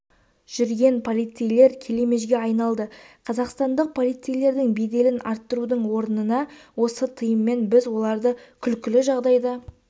жүрген полицейлер келемежге айналды қазақстандық полицейлердің беделін арттырудың орнына осы тыйыммен біз оларды күлкілі жағдайда